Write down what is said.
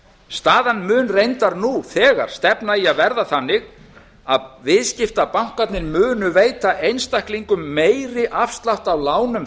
staðan mun reyndar nú þegar stefna í að verða þannig að viðskiptabankarnir munu veita einstaklinga meiri afslátt af lánum